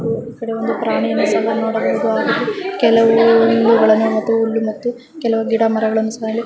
ಹಾಗು ಈಕಡೆ ಒಂದು ಪ್ರಾಣಿಯನ್ನು ಸಹ ನೋಡಬಹುದಾಗಿದೆ ಕೆಲವು ಗಿಡ ಮರಗಳನ್ನು ಕಾಣಬಹುದು